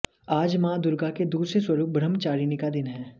आज मां दुर्गा के दूसरे स्वरुप ब्रह्मचारिणी का दिन है